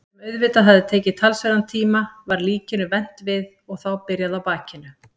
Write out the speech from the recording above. sem auðvitað hafði tekið talsverðan tíma- var líkinu vent við og þá byrjað á bakinu.